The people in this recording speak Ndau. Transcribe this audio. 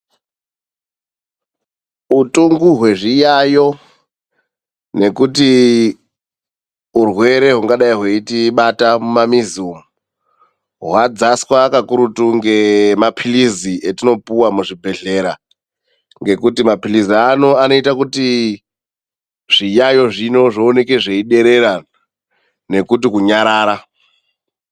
Utungu hwezviyayo nekuti urwere hungadai hweitibata mumamizi umu hwadzaswa kakurutu ngemapirizi etinopuwe muzvibhedhlera ngekuti mapirizo anoita kuti zviyayo zvino zvioneke zvechiderera nekuti kunyarara.